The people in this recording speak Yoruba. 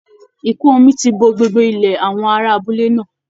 Ìkún omi ti bo gbogbo ilẹ̀ àwọn ará abúlé náà